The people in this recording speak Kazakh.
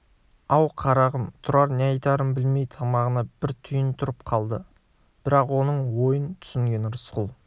ау қарағым тұрар не айтарын білмей тамағына бір түйін тұрып қалды бірақ оның ойын түсінген рысқұл